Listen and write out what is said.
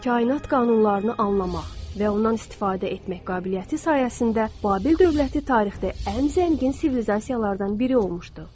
Kainat qanunlarını anlamaq və ondan istifadə etmək qabiliyyəti sayəsində Babil dövləti tarixdə ən zəngin sivilizasiyalardan biri olmuşdu.